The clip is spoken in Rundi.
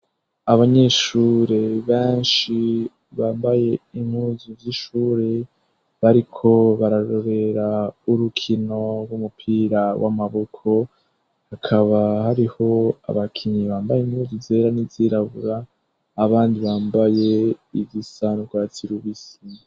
Abanyeshure banshi bambaye impuzu z'ishure, bariko bararorera urukino rw'umupira w'amaboko hakaba hariho abakinyi bambaye inkuzu zera n'izirabura, abandi bambaye igisa n’urwatsi rubisi.